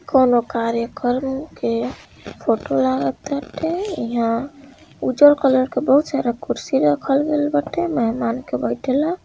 कोनो कार्य कर इ फोटो लगत बाटे यहाँ उजर कलर के बहुत सारा कुर्सी लगत बाटे मेहमान के बैठे ला।